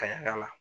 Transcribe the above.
Ka yala yala